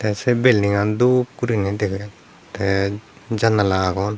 sey building aan doop guriney degedey tey jannala agon.